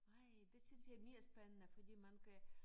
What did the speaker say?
Nej det synes jeg er mere spændende fordi man kan